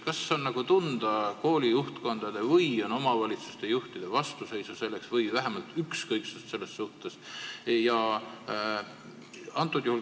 Kas on tunda koolide juhtkondade või omavalitsusjuhtide vastuseisu sellele või vähemalt ükskõiksust selle vastu?